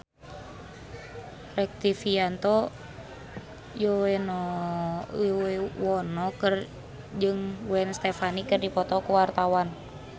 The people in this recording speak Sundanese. Rektivianto Yoewono jeung Gwen Stefani keur dipoto ku wartawan